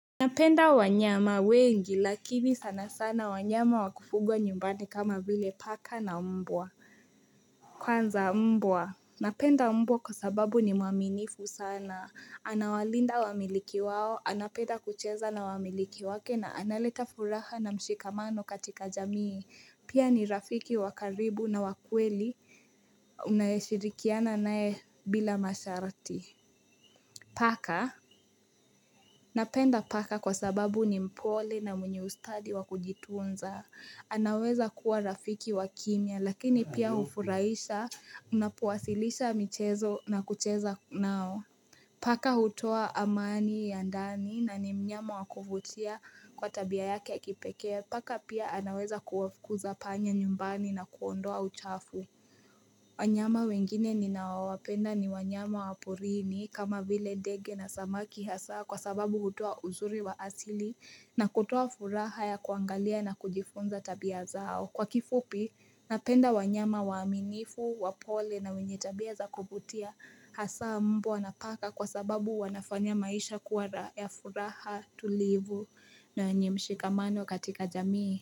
Napenda wanyama wengi lakini sana sana wanyama wa kufugwa nyumbani kama vile paka na mbwa Kwanza mbwa napenda mbwa kwa sababu ni mwaminifu sana anawalinda wamiliki wao anapenda kucheza na wamiliki wake na analeta furaha na mshikamano katika jamii pia ni rafiki wa karibu na wa kweli unayeshirikiana naye bila masharti Paka, napenda paka kwa sababu ni mpole na mwenye ustadi wa kujitunza. Anaweza kuwa rafiki wa kimya lakini pia ufuraisha unapowasilisha michezo na kucheza nao. Paka hutoa amani ya ndani na ni mnyama wakuvutia kwa tabia yake ya kipekee. Paka pia anaweza kuwafukuza panya nyumbani na kuondoa uchafu. Wanyama wengine ninaowapenda ni wanyama wa porini kama vile ndege na samaki hasa kwa sababu hutoa uzuri wa asili na kutoa furaha ya kuangalia na kujifunza tabia zao. Kwa kifupi, napenda wanyama waaminifu, wapole na wenye tabia za kuvutia hasa mbwa na paka kwa sababu wanafanya maisha kuara ya furaha tulivu na yenye mshikamano katika jamii.